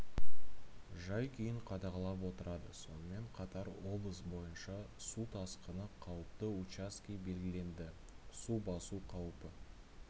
жай-күйін қадағалап отырады сонымен қатар облыс бойынша су тасқыны қауіпті учаске белгіленді су басу қаупі